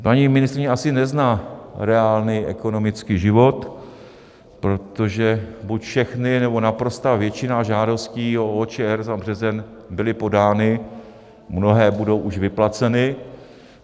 Paní ministryně asi nezná reálný ekonomický život, protože buď všechny, nebo naprostá většina žádostí o OČR za březen byly podány, mnohé budou už vyplaceny.